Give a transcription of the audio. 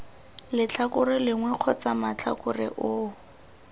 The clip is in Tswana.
letlhakore lengwe kgotsa matlhakore oo